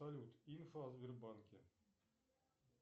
салют инфа о сбербанке